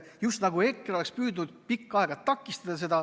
Just nagu EKRE oleks püüdnud seda pikka aega takistada.